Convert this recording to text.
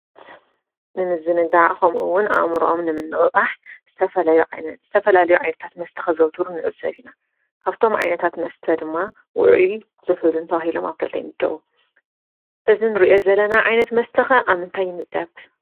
ንምዝንጋዕ ከምኡ እውን ኣእምርኦም ንምንቅቃሕ ዝተፈላለዩ ዓይነታት መስተታት ከዘውትሩ ንዕዘብ ኢና፡፡ ካብቶም ዓይንታት መስተ ኣብ ውዕዩን ዝሑልን ተባሂሎም ኣብ ክልተ ይምደቡ፡፡ እዚ እንሪኦ ዘለና ዓይነት መስተ ከ ኣብ ምንታይ ይምደብ?